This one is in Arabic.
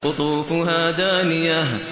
قُطُوفُهَا دَانِيَةٌ